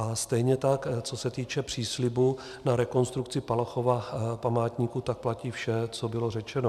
A stejně tak co se týče příslibu na rekonstrukci Palachova památníku, tak platí vše, co bylo řečeno.